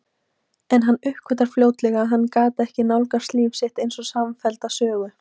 En hann uppgötvaði fljótlega að hann gat ekki nálgast líf sitt einsog samfellda sögu.